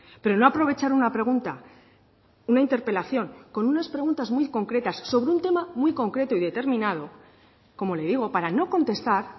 pero no aprovechar una pregunta una interpelación con unas preguntas muy concretas sobre un tema muy concreto y determinado como le digo para no contestar